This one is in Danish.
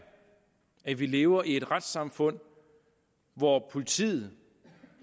at vi lever i et retssamfund hvor politiet